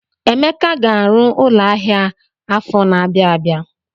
Emeka ga-arụ ụlọ ahịa afọ na-abịa abịa.